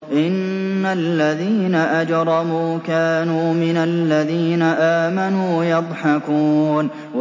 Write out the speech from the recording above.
إِنَّ الَّذِينَ أَجْرَمُوا كَانُوا مِنَ الَّذِينَ آمَنُوا يَضْحَكُونَ